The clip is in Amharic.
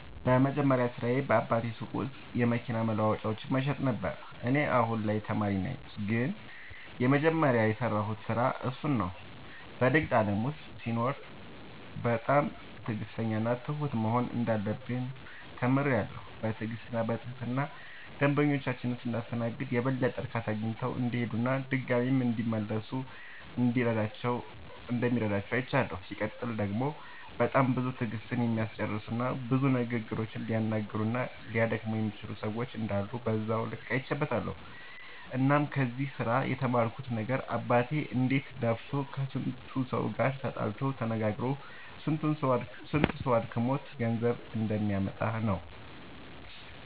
የመጀመሪያ ስራዬ በአባቴ ሱቅ ውስጥ የመኪና መለዋወጫዎችን መሸጥ ነበረ። እኔ አሁን ላይ ተማሪ ነኝ ግን የመጀመሪያ የሰራሁት ስራ እሱን ነው። በንግድ ዓለም ውስጥ ሲኖሩ በጣም ትዕግሥተኛና ትሁት መሆን እንዳለብን ተምሬያለሁ። በትዕግሥትና በትህትና ደንበኞቻችንን ስናስተናግድ የበለጠ እርካታ አግኝተው እንዲሄዱና ድጋሚም እንዲመለሱ እንደሚረዳ አይቻለሁ። ሲቀጥል ደግሞ በጣም ብዙ ትዕግሥትን የሚያስጨርሱና ብዙ ንግግሮችን ሊያነጋግሩና ሊያደክሙ የሚችሉ ሰዎች እንዳሉ በዛው ልክ አይቼበትበታለሁ። እናም ከዚህ ስራ የተማርኩት ነገር አባቴ እንዴት ለፍቶ ከስንቱ ሰው ጋር ተጣልቶ ተነጋግሮ ስንቱ ሰው አድክሞት ገንዘብ እንደሚያመጣ ነው።